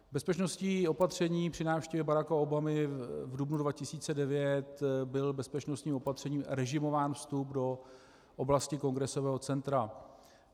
Bezpečnostní opatření při návštěvě Baracka Obamy v dubnu 2009, byl bezpečnostím opatřením režimován vstup do oblasti Kongresového centra.